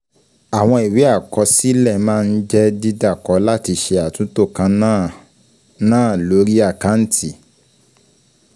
Àwọn ìwé àkọsílẹ̀ máa ń jẹ́ dídàkọ láti ṣe àtúntò kan náà náà lórí àkáǹtì.